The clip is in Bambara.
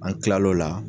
An kilal'o la